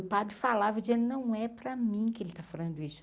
O padre falava eu dizia, não é para mim que ele está falando isso.